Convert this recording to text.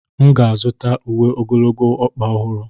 M ga-azụta uwe ogologo ọkpa ọhụrụ.